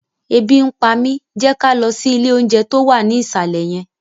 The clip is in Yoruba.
Ebi ń pa mi! Jẹ́ ká lọ sí ilé oúnjẹ tó wà ní ìsàlẹ̀ yẹn